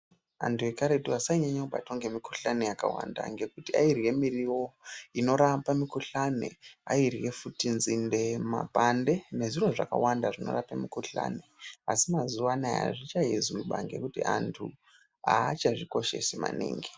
Antu ekaretu asainyanye kubatwa ngemikuhlani yakawanda ngekuti airye muriwo inorapa mikuhlane. Airye futu nzinde, mapande nezviro zvakawanda zvinorape mikuhlani. Asi mazuva anaya hazvichaizwi maningi ngekuti antu haachazvikoshesi maningi.